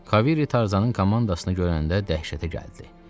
Kavery Tarzanın komandasını görəndə dəhşətə gəldi.